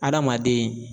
Adamaden